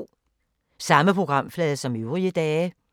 Samme programflade som øvrige dage